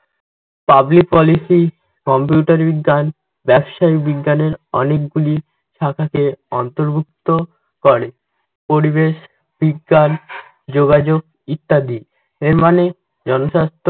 public policy, computer বিজ্ঞান, ব্যাবসায়ীক বিজ্ঞানের অনেকগুলি শাখাকে অন্তর্ভুক্ত করে পরিবেশ, বিজ্ঞান, যোগাযোগ ইত্যাদি। এর মানে জনস্বাস্থ্য